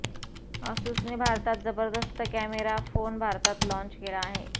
असुसने भारतात जबरदस्त camera phone भारतात लाँच केला आहे